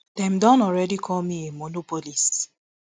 dem don already call me a monopolist